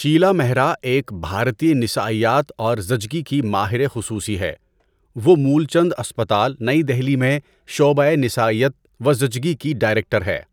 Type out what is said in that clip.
شیلا مہرا ایک بھارتی نسائیات اور زچگی کی ماہر خصوصی ہے۔ وہ مولچند اسپتال، نئی دہلی میں شعبۂ نسائیات و زچگی کی ڈائریکٹر ہے۔